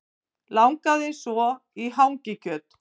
Langaði svo í hangikjöt